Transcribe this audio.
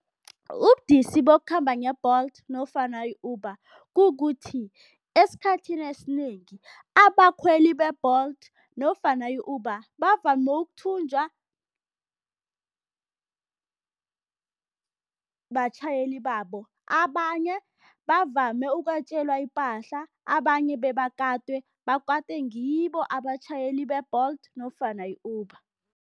Ubudisi bokukhamba nge-Bolt nofana i-Uber kukuthi, esikhathini esinengi abakhweli be-Bolt nofana i-Uber bavame ukuthunjwa batjhayeli babo, abanye bavame ukwetjelwa ipahla, abanye bebakatwe, bakatwe ngibo abatjhayeli be-Bolt nofana i-Uber.